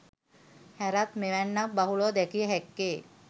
හැරත් මෙවැන්නන් බහුලව දැකිය හැක්කේ